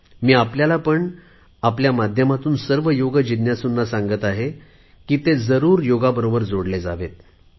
मी आपल्याला पण आणि आपल्या माध्यमातून सर्व योग जिज्ञासूंना सांगत आहे की ते जरुर योगाबरोबर जोडले जावेत